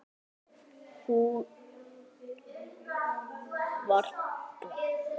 Hún var blönk.